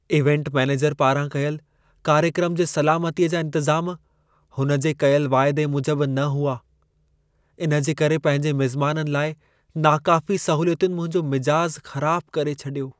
Event manager पारां कयल कार्यक्रम जे सलामतीअ जा इंतज़ाम, हुन जे कयल वाइदे मूजब न हुआ। इन जे करे पंहिंजे मिज़माननि लाइ नाकाफ़ी सहूलियतुनि मुंहिंजो मिजाज़ु ख़राबु करे छॾियो।